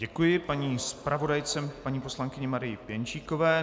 Děkuji paní zpravodajce, paní poslankyni Marii Pěnčíkové.